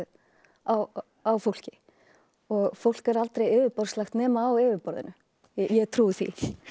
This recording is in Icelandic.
á á fólki fólk er aldrei yfirborðslegt nema á yfirborðinu ég trúi því